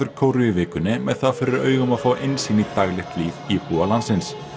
Kóreu í vikunni með það fyrir augum að fá innsýn inn í daglegt líf íbúa landsins